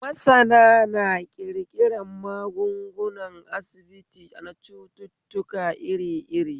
Masana na ƙirƙiran magungunan asibiti na cututtuka iri iri